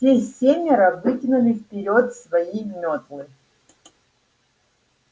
все семеро вытянули вперёд свои метлы